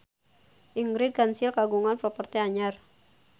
Ingrid Kansil kagungan properti anyar